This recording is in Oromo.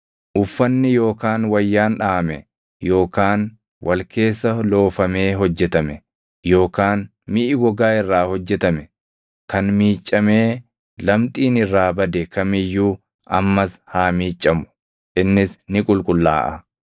Uffanni yookaan wayyaan dhaʼame yookaan wal keessa loofamee hojjetame yookaan miʼi gogaa irraa hojjetame kan miiccamee lamxiin irraa bade kam iyyuu ammas haa miiccamu; innis ni qulqullaaʼa.”